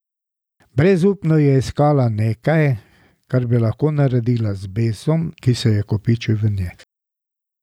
Brezupno je iskala nekaj, kar bi lahko naredila z besom, ki se je kopičil v njej.